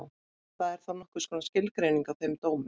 Það er þá nokkurs konar skilgreining á þeim dómi.